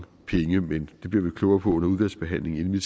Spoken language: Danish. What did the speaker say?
penge men det bliver vi jo klogere på under udvalgsbehandlingen inden vi